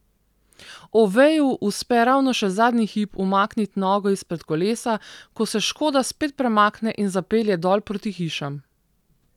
Oveju uspe ravno še zadnji hip umakniti nogo izpred kolesa, ko se škoda spet premakne in zapelje dol proti hišam.